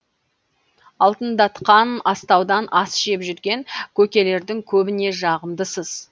алтындатқан астаудан ас жеп жүрген көкелердің көбіне жағымдысыз